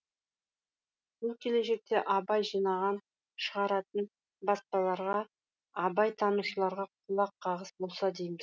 бұл келешекте абай жинаған шығаратын баспаларға абайтанушыларға құлаққағыс болса дейміз